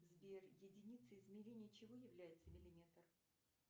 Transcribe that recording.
сбер единицей измерения чего является миллиметр